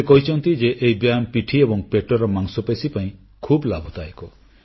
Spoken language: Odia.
ସେ କହିଛନ୍ତି ଯେ ଏହି ବ୍ୟାୟାମ ପିଠି ଏବଂ ପେଟର ମାଂସପେଶୀ ପାଇଁ ଖୁବ ଲାଭଦାୟକ